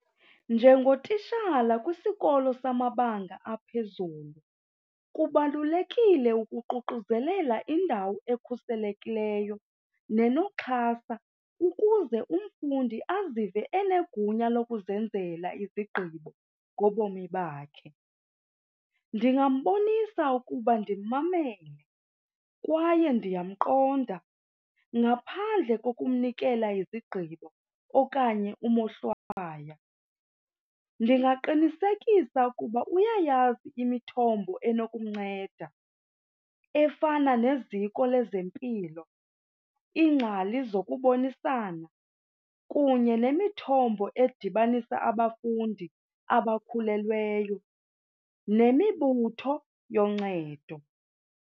Njengotishala kwisikolo samabanga aphezulu kubalulekile ukuququzelela indawo ekhuselekileyo nenoxhasa ukuze umfundi azive enegunya lokuzenzela izigqibo ngobomi bakhe. Ndingambonisa ukuba ndimmamele kwaye ndiyamqonda ngaphandle kokumnikela izigqibo okanye umohlwaya. Ndingaqinisekisa ukuba uyayazi imithombo enokumnceda efana neziko lezempilo, iingcali zokubonisana kunye nemithombo edibanisa abafundi abakhulelweyo nemibutho yoncedo.